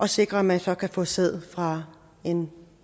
sikres at man så kan få sæd fra en